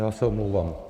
Já se omlouvám.